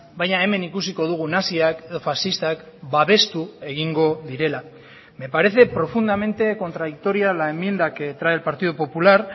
baina hemen ikusiko dugun naziak edo faxistak babestu egingo direla me parece profundamente contradictoria la enmienda que trae el partido popular